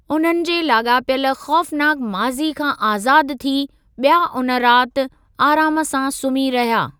उन्हनि जे लाॻापियल ख़ौफ़नाक माज़ी खां आज़ादु थी, ॿिया उन राति आराम सां सुम्ही रहिया।